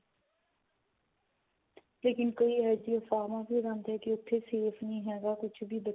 ਲੇਕਿਨ ਕਈ ਇਹੋ ਜਿਹੀਆਂ ਅਫਵਾਹਾਂ ਫੇਲਾਉਂਦੇ ਕੀ ਉਥੇ safe ਨਹੀ ਹੈਗਾ ਕੁੱਝ ਵੀ